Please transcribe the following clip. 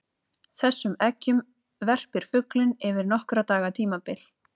Þessum eggjum verpir fuglinn yfir nokkurra daga tímabil.